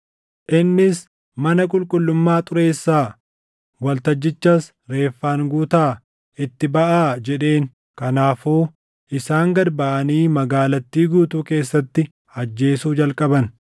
Innis, “Mana qulqullummaa xureessaa; waltajjichas reeffaan guutaa. Itti baʼaa!” jedheen. Kanaafuu isaan gad baʼanii magaalattii guutuu keessatti ajjeesuu jalqaban.